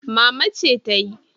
Mama ce tayi.